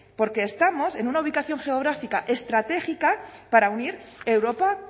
porque estamos en una ubicación geográfica estratégica para unir europa